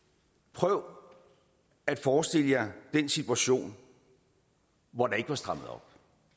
prøv at forestille jer den situation hvor der ikke var strammet op